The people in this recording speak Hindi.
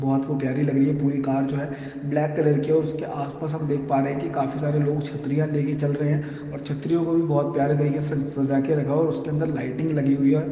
बहुत वो प्यारी लग रही है पूरी कार जो है ब्लैक कलर की और उसके आसपास हम देख पा रहे हैं कि काफी सारे लोग छतरियां लेके चल रहे हैं और छतरियों को भी बहुत प्यारे तरीके से सजा के रखा और उसके अंदर लाइटिंग लगी हुई है।